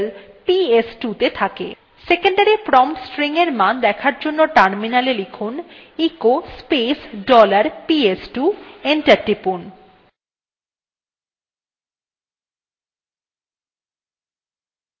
secondary value command prompt এর মান দেখার জন্য terminal এ লিখুন echo space dollar ps2 enter টিপুন